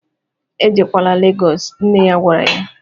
"Ejekwaala Legos" nne ya gwara ya